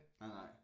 Nej nej